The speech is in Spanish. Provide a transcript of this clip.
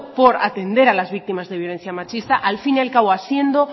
por atender a las víctimas de violencia machista al fin y al cabo haciendo